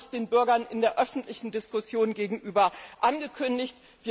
Wir haben das den Bürgern in der öffentlichen Diskussion gegenüber angekündigt.